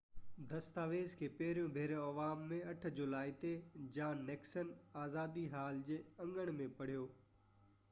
دستاويز کي پهريون ڀيرو عوام ۾ 8 جولائي تي جان نڪسن آزادي حال جي اڱڻ ۾ پڙهيو